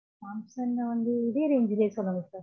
Samsung லா வந்து இதே range சொல்லுங்க sir